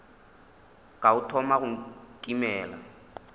ka o thoma go nkimela